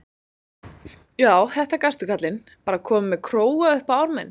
Já, þetta gastu, kallinn, bara kominn með króga upp á arminn.